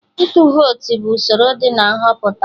Ịtụ vote bụ usoro dị na Nhọpụta